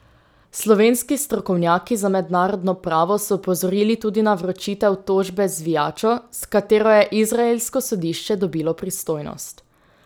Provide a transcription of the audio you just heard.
Slovenski strokovnjaki za mednarodno pravo so opozorili tudi na vročitev tožbe z zvijačo, s katero je izraelsko sodišče dobilo pristojnost.